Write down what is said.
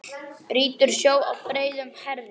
Brýtur sjó á breiðum herðum.